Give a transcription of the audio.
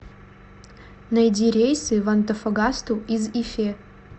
найди рейсы в антофагасту из ифе